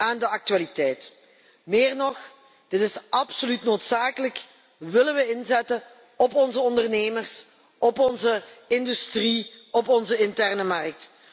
aan de actualiteit. Meer nog, dit is absoluut noodzakelijk, als we willen inzetten op onze ondernemers, op onze industrie en op onze interne markt.